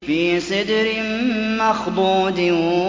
فِي سِدْرٍ مَّخْضُودٍ